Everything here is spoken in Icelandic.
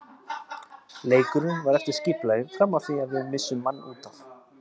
Leikurinn var eftir skipulagi fram að því að við missum mann útaf.